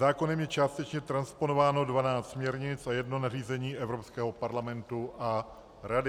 Zákonem je částečně transponováno 12 směrnic a jedno nařízení Evropského parlamentu a Rady.